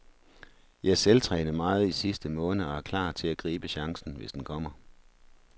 Jeg selvtrænede meget i sidste måned og er klar til at gribe chancen, hvis den kommer.